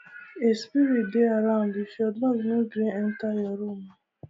a spirit dey around if your dog no gree enter your room o